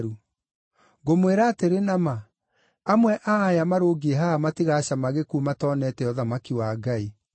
Ngũmwĩra atĩrĩ na ma, amwe a aya marũngiĩ haha matigacama gĩkuũ matonete ũthamaki wa Ngai.”